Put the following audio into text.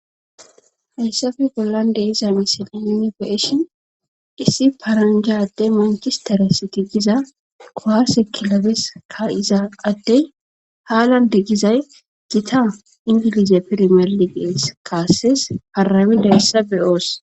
Heyssafe bollande iza misili mini beeshin hissi paranjade mancistare siti giza koharse kilobes ka iza atdey haalan de gizay gita ingilize pirmeliqees kaasses harami dayessa beyoos.